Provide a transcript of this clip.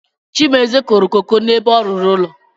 Chimezie kụrụ koko n’ebe ọ rụrụ ụlọ